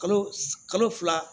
Kalo kalo fila